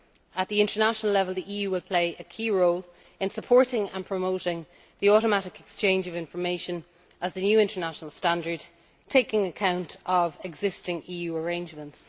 At international level, the EU will play a key role in supporting and promoting the automatic exchange of information as the new international standard, taking account of existing EU arrangements.